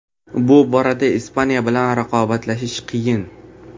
Bu borada Ispaniya bilan raqobatlashish qiyin.